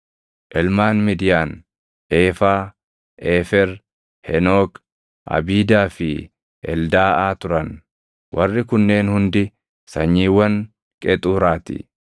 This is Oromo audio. Ilmaan Midiyaan Eefaa, Eefer, Henook, Abiidaa fi Eldaaʼaa turan. Warri kunneen hundi sanyiiwwan Qexuuraa ti.